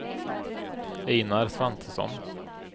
Einar Svantesson